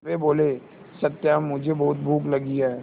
वे बोले सत्या मुझे बहुत भूख लगी है